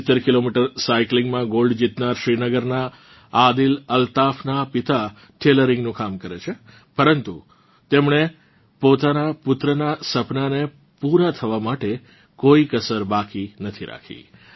70 kilometre સાઇકલીંગમાં gold જીતનાર શ્રીનગરનાં આદિલ અલ્તાફનાં પિતા ટેલરીંગનું કામ કરે છે પરંતુ તેમણે પોતાનાં પુત્રનાં સપનાને પૂરાં કરવા માટે કોઇ કસર બાકી નથી રાખી